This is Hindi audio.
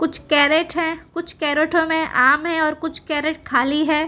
कुछ कैरेट है कुछ कैरेटो में आम है और कुछ कैरेट खाली है।